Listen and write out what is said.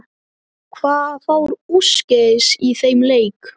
Hvað fór úrskeiðis í þeim leik?